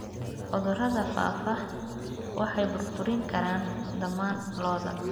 Cudurrada faafa waxay burburin karaan dhammaan lo'da.